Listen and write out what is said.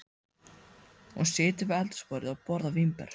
Hún situr við eldhúsborðið og borðar vínber.